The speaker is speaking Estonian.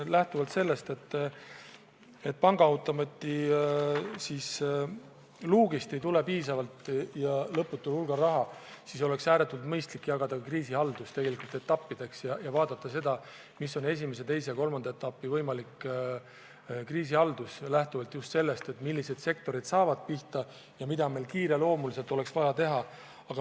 Kuna pangaautomaadist ei tule piisavalt ja lõputul hulgal raha, oleks ääretult mõistlik jagada kriisihaldus tegelikult etappideks ja analüüsida, milline on esimese-teise-kolmanda etapi võimalik kriisihaldus – lähtuvalt just sellest, millised sektorid saavad kõige rohkem pihta ja mida meil kiireloomuliselt oleks vaja teha.